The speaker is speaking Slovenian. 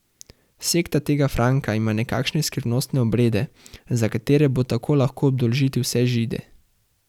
Sekta tega Franka ima nekakšne skrivnostne obrede, za katere bo tako lahko obdolžiti vse Žide.